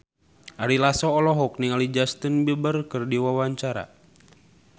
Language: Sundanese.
Ari Lasso olohok ningali Justin Beiber keur diwawancara